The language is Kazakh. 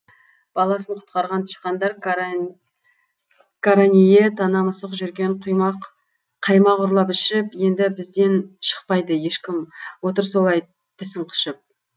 баласын құтқарған тышқандар қарание тана мысық жүрген қаймақ ұрлап ішіп енді бізден шықпайды ешкім отыр солай тісің қышып